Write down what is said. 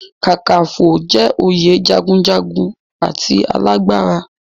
Kakaǹfò jẹ́ oyè jagunjagun and alágbára.